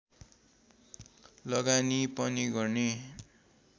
लगानी पनि गर्ने